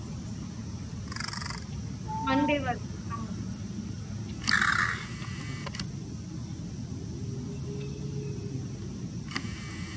twenty-seventh ஆ okay mam one second so free ஆ இருக்கா இல்லையா check பண்ணிக்கறேன் சரிங்களா